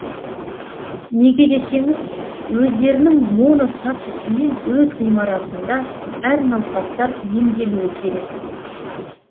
неге десеңіз өздерінің моно статусымен өз ғимаратында әр науқастар емделуі керек